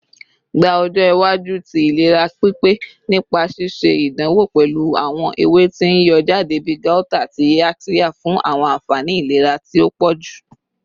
Gba ọjọ iwaju ti ilera pipe nipa ṣiṣe idanwo pẹlu awọn ewe ti n yọ jade bi gauta ati yaxiya fun awọn anfani ilera ti o pọju